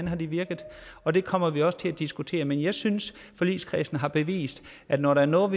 har virket og det kommer vi også til diskutere men jeg synes at forligskredsen har bevist at når der er noget